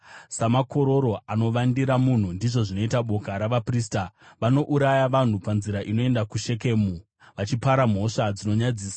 Samakororo anovandira munhu, ndizvo zvinoita boka ravaprista. Vanouraya vanhu panzira inoenda kuShekemu, vachipara mhosva dzinonyadzisa.